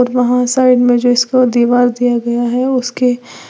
वहां साइड में जिसको दीवार दिया गया है उसके--